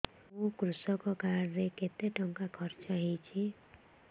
ମୋ କୃଷକ କାର୍ଡ ରେ କେତେ ଟଙ୍କା ଖର୍ଚ୍ଚ ହେଇଚି